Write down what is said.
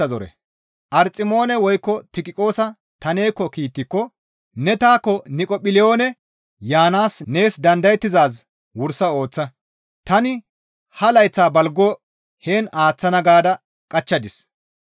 Arximoone woykko Tiqiqoosa ta neekko kiittiko ne taakko Niqopholiyoone yaanaas nees dandayettizaaz wursa ooththa; tani ha layththa balgo heen aaththana gaada qachchadis.